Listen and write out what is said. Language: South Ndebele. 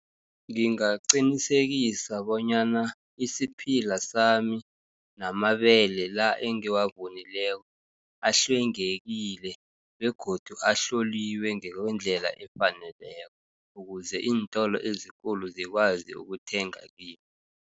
Ngingaqinisekisa bonyana isiphila sami, namandebele la engiwavunileko ahlwengekile, begodu ahloliwe ngekwendlela efaneleko, ukuze iintolo ezikulu zikwazi ukuthenga kimi.